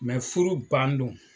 Mɛ furu ban don